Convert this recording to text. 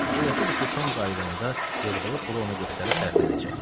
Fikirləşirdi ki, Tom qayıdanda yığdığı pulu ona göstərib fərəhlənəcək.